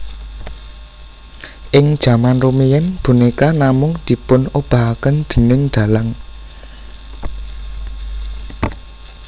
Ing jaman rumiyin bonéka namung dipunobahaken déning dalang